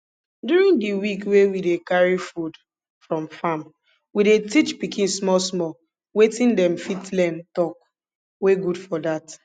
during di week wey we dey carry food from farm we dey teach pikin small small waiting dem fit learn talk wey good for dat